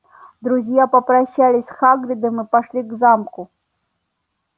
друзья попрощались с хагридом и пошли к замку